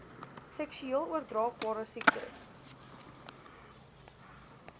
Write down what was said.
seksueel oordraagbare siektes